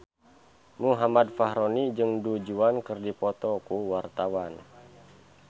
Muhammad Fachroni jeung Du Juan keur dipoto ku wartawan